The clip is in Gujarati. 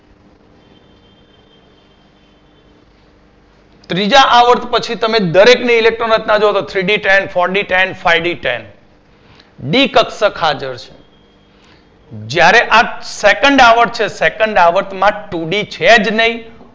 ત્રીજા આવર્ત પછી તમે દરેક ની Electron રચના જોવો તો Three D Ten Four D Ten SD Ten D કક્ષક હાજર છે જ્યારે આ સેકંડ આવર્ત છે સેકંડ આવર્ત માં Two D છે જ નય